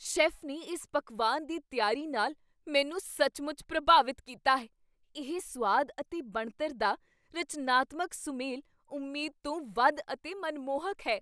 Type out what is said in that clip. Chef ਨੇ ਇਸ ਪਕਵਾਨ ਦੀ ਤਿਆਰੀ ਨਾਲ ਮੈਨੂੰ ਸੱਚਮੁੱਚ ਪ੍ਰਭਾਵਿਤ ਕੀਤਾ ਹੈ, ਇਹ ਸੁਆਦ ਅਤੇ ਬਣਤਰ ਦਾ ਰਚਨਾਤਮਕ ਸੁਮੇਲ ਉਮੀਦ ਤੋਂ ਵੱਧ ਅਤੇ ਮਨਮੋਹਕ ਹੈ।